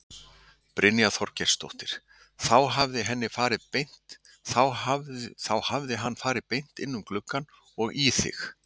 Brynja Þorgeirsdóttir: Þá hefði hann farið beint inn um gluggann og í þig?